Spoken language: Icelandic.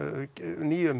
nýjum